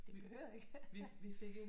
Det behøver du ikke